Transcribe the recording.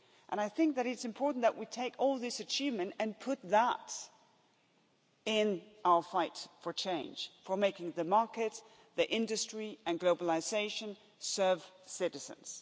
I think that it's important that we take all this achievement and put that in our fight for change, for making the market, the industry and globalisation serve citizens.